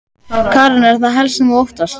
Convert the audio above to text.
Karen: Er það helst það sem þú óttast?